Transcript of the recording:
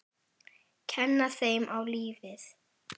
Kenna þeim á lífið.